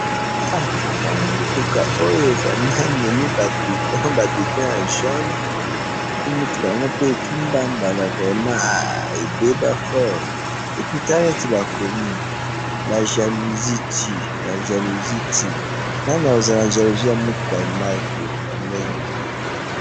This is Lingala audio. Ah! Namoni mutuka oyo vraiment, ememi ba bidon, ba bidon ya jaune, epuis mutuka yangope kimbambala vraiment! Ah! Ebeba fort epuis Tala neti bakomi, la jalousie tue, la jalousie tue, nani akozala na jalousie ya mutuka ya mark oyo? Ya ndenge oyo?